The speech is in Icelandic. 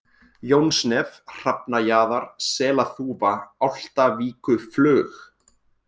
Jónsnef, Hrafnajaðar, Selaþúfa, Álftavíkuflug